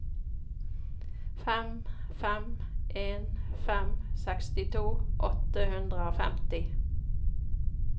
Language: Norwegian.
fem fem en fem sekstito åtte hundre og femti